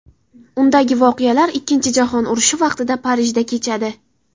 Undagi voqealar Ikkinchi Jahon urushi vaqtida Parijda kechadi.